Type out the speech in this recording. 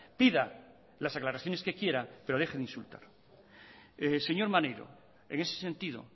pida las aclaraciones que quiera pero deje de insultar señor maneiro en ese sentido